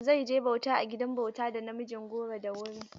Zai je bauta a gidan bauta da namijin goro da wuri.